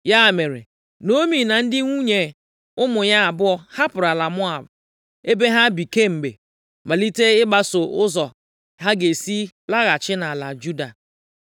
Ya mere, Naomi na ndị nwunye ụmụ ya abụọ hapụrụ ala Moab ebe ha bi kemgbe, malite ịgbaso ụzọ ha ga-esi laghachi nʼala Juda.